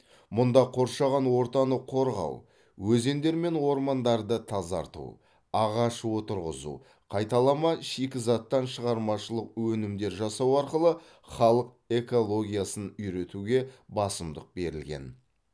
мұнда қоршаған ортаны қорғау өзендер мен ормандарды тазарту ағаш отырғызу қайталама шикізаттан шығармашылық өнімдер жасау арқылы халық экологиясын үйретуге басымдық берілген